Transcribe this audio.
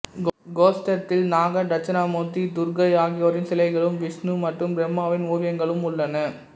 கோஷ்டத்தில் நாகர் தட்சிணாமூர்த்தி துர்க்கை ஆகியோரின் சிலைகளும் விஷ்ணு மற்றும் பிரம்மாவின் ஓவியங்களும் உள்ளன